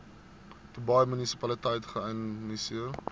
dubai munisipaliteit geïnisieer